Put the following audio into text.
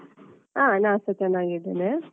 ಹ ನಾನ್ಸ ಚೆನ್ನಾಗಿದ್ದೇನೆ.